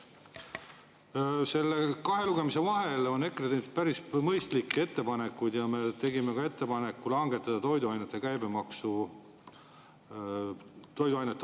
Selle kahe lugemise vahel on EKRE teinud päris mõistlikke ettepanekuid ja me tegime ka ettepaneku langetada toiduainete käibemaksu.